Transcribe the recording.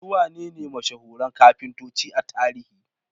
Su wanene mashahuran kafintoci a tarihi?